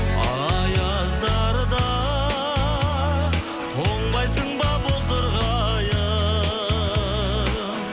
аяздарда тоңбайсың ба бозторғайым